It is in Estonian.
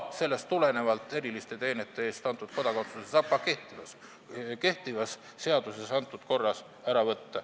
Sellest tulenevalt saab eriliste teenete eest antud kodakondsuse ära võtta ka kehtiva seaduse korras.